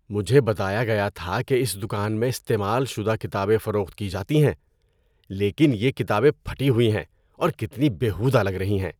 مجھے بتایا گیا تھا کہ اس دکان میں استعمال شدہ کتابیں فروخت کی جاتی ہیں لیکن یہ کتابیں پھٹی ہوئی ہیں اور کتنی بیہودہ لگ رہی ہیں۔